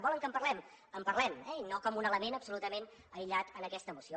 volen que en parlem en parlem eh i no com un element absolutament aïllat en aquesta moció